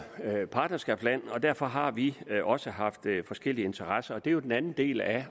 er jo partnerskabsland og derfor har vi også haft forskellige interesser og det er jo den anden del af